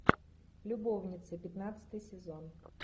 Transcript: любовницы пятнадцатый сезон